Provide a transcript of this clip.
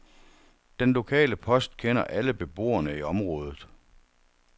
Den lokale post kender alle beboerne i området.